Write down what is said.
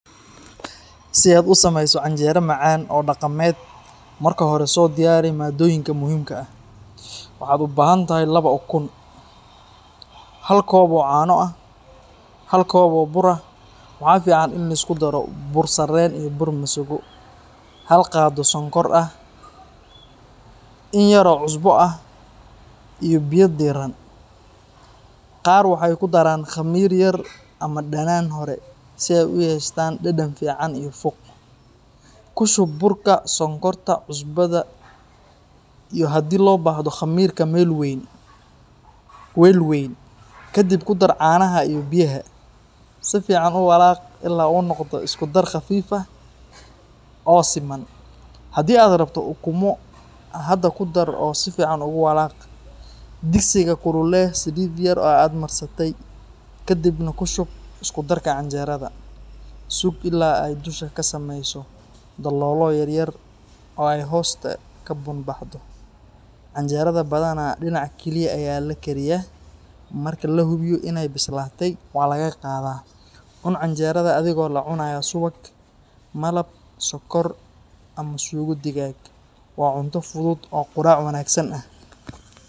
Si aad u samayso canjeero macaan oo dhaqameed, marka hore soo diyaari maaddooyinka muhiimka ah. Waxaad u baahan tahay laba ukun , hal koob oo caano ah, hal koob oo bur ah — waxaa fiican in la isku daro bur sarreen iyo bur masago — hal qaado sonkor ah, in yar oo cusbo ah, iyo biyo diirran. Qaar waxay ku daraan khamiir yar ama dhanaan hore si ay u yeeshaan dhadhan fiican iyo fuuq. Ku shub burka, sonkorta, cusbada, iyo haddii loo baahdo khamiirka, weel weyn. Kadib ku dar caanaha iyo biyaha, si fiican u walaaq ilaa uu noqdo isku dar khafiif ah oo siman. Haddii aad rabto ukumo, hadda ku dar oo si fiican ugu walaaq. Digsiga kululee saliid yar oo aad marsatay, kadibna ku shub isku darka canjeerada. Sug ilaa ay dusha ka samayso daloolo yaryar oo ay hoosta ka bun-baxdo. Canjeerada badanaa dhinac kaliya ayaa la kariyaa, marka la hubiyo inay bislaatay, waa la qaadayaa. Cun canjeerada adigoo la cunaya subag, malab, sokor, ama suugo digaag. Waa cunto fudud oo quraac wanaagsan ah.